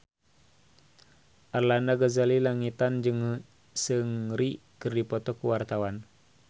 Arlanda Ghazali Langitan jeung Seungri keur dipoto ku wartawan